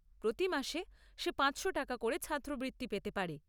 প্রতি মাসে সে পাঁচশো টাকা করে ছাত্রবৃত্তি পেতে পারে।